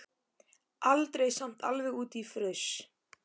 Aldrei samt alveg út í fruss.